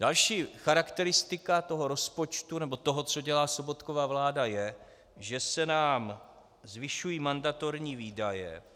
Další charakteristika toho rozpočtu nebo toho, co dělá Sobotkova vláda, je, že se nám zvyšují mandatorní výdaje.